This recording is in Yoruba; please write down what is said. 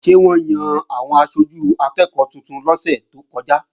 Ṣé wọ́n yan àwọn aṣojú akẹ́ẹ̀kọ́ tuntun lọ́sẹ̀ tó kọjá?